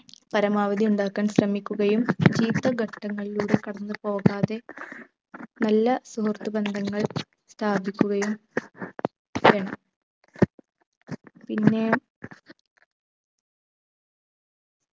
പരമാവധി ഉണ്ടാക്കാൻ ശ്രമിക്കുകയും ചീത്ത ഘട്ടങ്ങളിലൂടെ കടന്നു പോകാതെ നല്ല സുഹൃത്ത് ബന്ധങ്ങൾ സ്ഥാപിക്കുകയും വേണം പിന്നെ